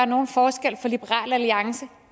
nogen forskel for liberal alliance